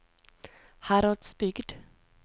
Heradsbygd